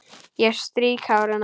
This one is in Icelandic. Ég strýk hár hennar.